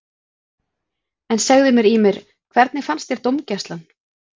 En segðu mér Ýmir, hvernig fannst þér dómgæslan?